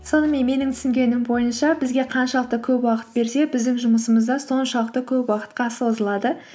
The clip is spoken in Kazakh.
сонымен менің түсінгенім бойынша бізге қаншалықты көп уақыт берсе біздің жұмысымыз да соншалықты көп уақытқа созылады